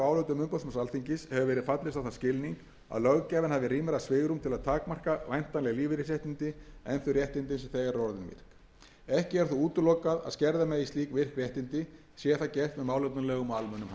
á þann skilning að löggjafinn hafi rýmra svigrúm til að takmarka væntanleg lífeyrisréttindi en þau réttindi sem þegar eru orðin virk ekki er þó útilokað að skerða megi slík virk réttindi sé það gert með málefnalegum og almennum hætti í samræmi við